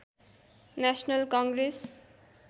national Congress